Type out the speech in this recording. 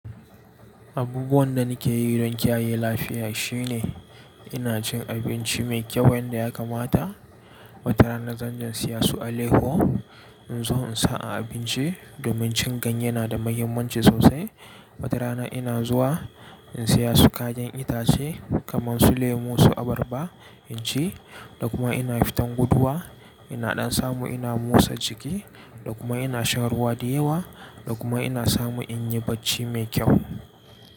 Abubuwan da nake yi don kiyaye lafiya shine ina cin abinci mai kyau wanda ya kamata. Wata rana zanje in saya su alayyaho. In zo in sa a abinci domin cin ganye yana da mahimmanci sosai. Wata rana ina zuwa in saya su kayan itace kamar su lemu, su abarba in ci da kuma ina fitan guduwa. Ina ɗan samu ina motsa jiki da kuma ina shan ruwa da yawa da kuma ina samu in yi bacci mai kyau.